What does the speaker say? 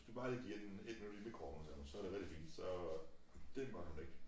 Hvis du bare lige giver den ét minut i mikroovnen sagde hun så det rigtig fint så dét måtte hun ikke